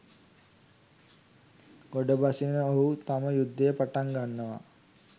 ගොඩ බසින ඔහු තම යුද්ධය පටන් ගන්නවා